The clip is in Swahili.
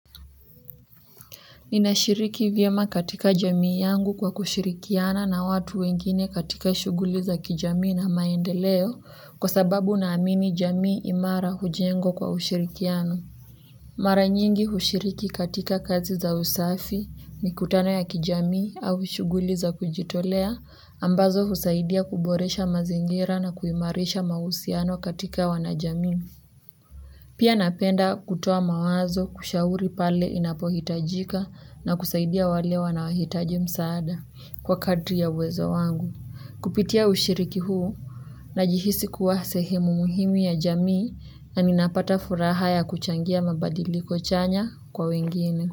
Ninashiriki vyema katika jamii yangu kwa kushirikiana na watu wengine katika shughuli za kijamii na maendeleo kwa sababu ninaamini jamii imara hujengwa kwa ushirikiano. Mara nyingi hushiriki katika kazi za usafi, mikutano ya kijamii au shughuli za kujitolea ambazo husaidia kuboresha mazingira na kuimarisha mahusiano katika wanajamii pia ninapenda kutoa mawazo kushauri pale inapohitajika na kusaidia wale wanaohitaji msaada kwa kadri ya uwezo wangu. Kupitia ushiriki huu, ninajihisi kuwa sehemu muhimu ya jamii na ninapata furaha ya kuchangia mabadiliko chanya kwa wengine.